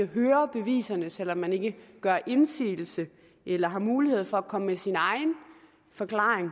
høre beviserne selv om man ikke kan gøre indsigelse eller har mulighed for at komme med sin egen forklaring